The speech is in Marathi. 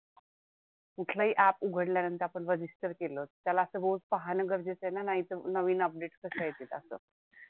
कुठलंही app उघडल्या आपण नंतर register केलं त्याला असं रोज पाहणं गरजेचं आहे ना? नाहीतर नवीन update कसं येतील असं?